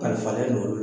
Kalifalen n'olu